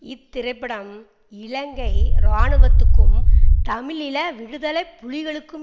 இத்திரைப்படம் இலங்கை இராணுவத்துக்கும் தமிழீழ விடுதலை புலிகளுக்கும்